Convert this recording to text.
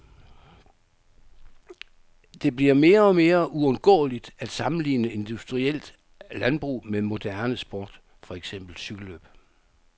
Det bliver mere og mere uundgåeligt at sammenligne industrielt landbrug med moderne sport, for eksempel cykellløb.